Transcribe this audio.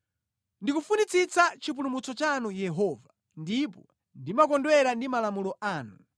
Ndikufunitsitsa chipulumutso chanu Yehova, ndipo ndimakondwera ndi malamulo anu.